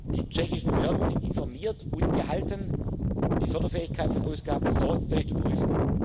ist. Die tschechischen Behörden sind informiert und gehalten, die Förderfähigkeit von Ausgaben sorgfältig zu prüfen.